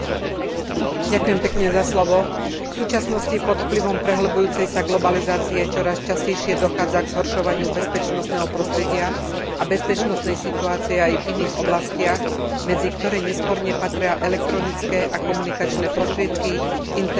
V súčasnosti pod vplyvom prehlbujúcej sa globalizácie čoraz častejšie dochádza k zhoršovaniu bezpečnostného prostredia a bezpečnostnej situácie aj v iných oblastiach, medzi ktoré nesporne patria elektronické a komunikačné prostriedky, internet a sociálne siete.